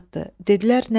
Dedilər nə üçün?